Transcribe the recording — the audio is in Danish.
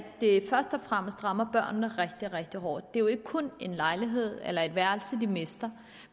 det først og fremmest rammer børnene rigtig rigtig hårdt det er jo ikke kun en lejlighed eller et værelse de mister